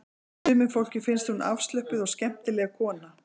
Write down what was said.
Sumu fólki finnst hún afslöppuð og skemmtileg kona